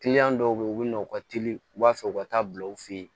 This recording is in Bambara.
dɔw bɛ yen u bɛ na u ka teli u b'a fɛ u ka taa bila u fɛ yen